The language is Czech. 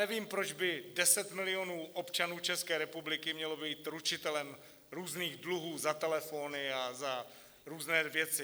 Nevím, proč by deset milionů občanů České republiky mělo být ručitelem různých dluhů za telefony a za různé věci.